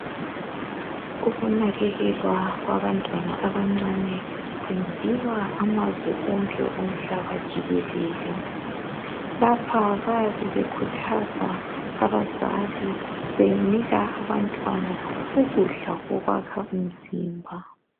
Ukunakekelwa kwabantwana abancane kwenziwa amazwe onke omhlaba jikelele. Lapha bayabe bekhuthaza abazali benika abantwana ukudla okwakha umzimba.